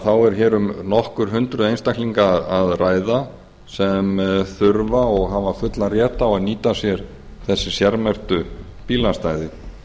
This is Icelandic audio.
þá er hér um nokkur hundruð einstaklinga að ræða sem þurfa og hafa fullan rétt á að nýta sér þessi sérmerktu bílastæði